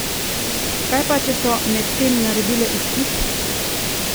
Kaj pa, če so medtem naredile izpit?